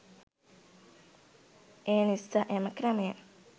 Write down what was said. එනිසා එම ක්‍රමය